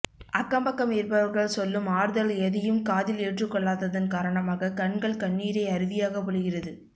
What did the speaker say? அக்கம் பக்கம் இருப்பவர்கள் சொல்லும் ஆறுதல் எதையும் காதில் ஏற்றிக்கொள்ளாததன் காரணமாக கண்கள் கண்ணீரை அருவியாக பொழிகிறது